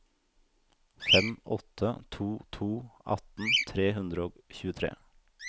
fem åtte to to atten tre hundre og tjuetre